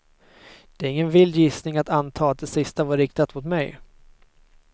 Det är ingen vild gissning att anta att det sista var riktat mot mig.